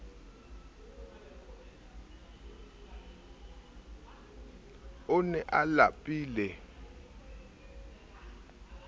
o ne a lapile ho